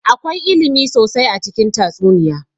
Akwai ilimi sosai a cikin tatsuniya